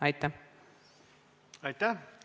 Aitäh!